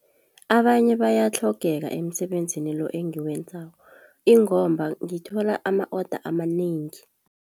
Abanye bayatlhogeka emsebenzini lo engiwenzako ingomba ngithola ama-oda amanengi.